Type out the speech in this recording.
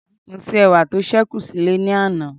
mo se ẹwà ti o sekun sile ni ana